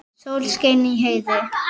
Sól skein í heiði.